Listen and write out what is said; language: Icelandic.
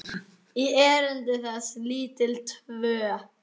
í erindi þessi lítil tvö.